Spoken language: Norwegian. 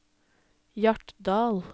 Hjartdal